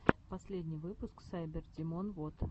последний выпуск сайбердимон вот